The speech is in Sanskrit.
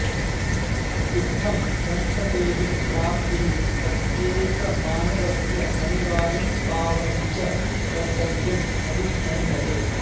इत्थं सन्ततेः प्राप्तिः प्रत्येकमानवस्य अनिवार्यं पावनं च कर्तव्यमभिमन्यते